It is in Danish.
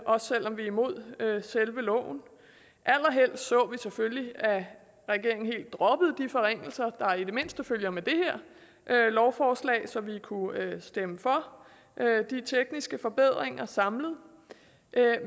også selv om vi er imod selve loven allerhelst så vi selvfølgelig at regeringen helt droppede de forringelser der i det mindste følger med det her lovforslag så vi kunne stemme for de tekniske forbedringer samlet